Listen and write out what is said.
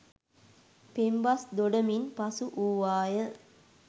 පෙම්බස් දොඩමින් පසු වූවාය